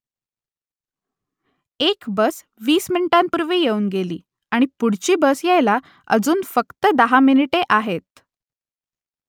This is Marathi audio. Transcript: एक बस वीस मिनिटांपूर्वी येऊन गेली आणि पुढची बस यायला अजून फक्त दहा मिनिटे आहेत